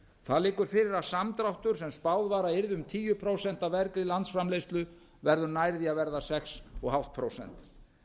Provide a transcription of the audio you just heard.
það liggur fyrir að samdráttur sem spáð var að yrði tíu prósent af vergri landsframleiðslu verður nær því að verða sex og hálft prósent